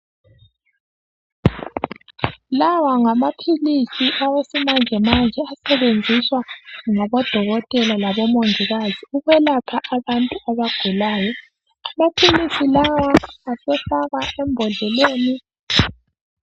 Lawa ngamaphilisi awesimanjemanje asetshenziswa ngabodokotela labo mongikazi, ukwelapha abantu abagulayo. Amaphilisi lawa esefakwa embodleleni.